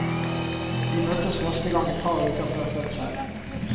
De møttes første gang et par uker før fødselen.